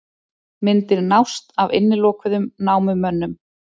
Myndir nást af innilokuðum námumönnum